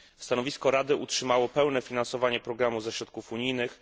Stanowisko Rady utrzymało pełne finansowanie programu ze środków unijnych.